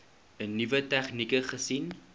nuwe tegnieke gesien